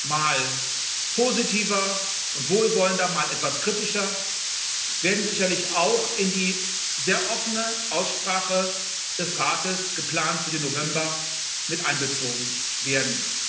mal positiver und wohlwollender, mal etwas kritischer werden sicherlich auch in die sehr offene Aussprache des Rates, geplant für den November, mit einbezogen werden.